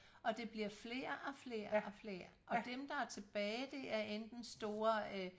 Og det bliver flere og flere og flere og dem der er tilbage det er enten store øh